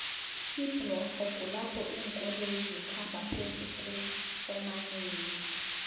iblorho kulapho linkoloyo zikhamba phezukuomanei